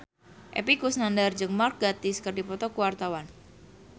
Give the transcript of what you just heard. Epy Kusnandar jeung Mark Gatiss keur dipoto ku wartawan